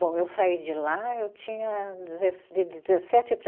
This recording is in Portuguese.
Bom, eu saí de lá, eu tinha dezes, de dezessete para